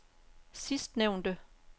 sidstnævnte